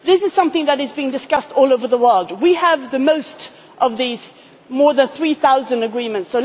court. This is something that is being discussed all over the world. We have the highest number of these more than 3